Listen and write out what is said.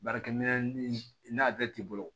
Baarakɛminɛn n'a bɛɛ t'i bolo